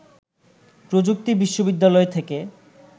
প্রযুক্তি বিশ্ববিদ্যালয় থেকে